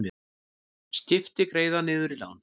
Skipti greiða niður lán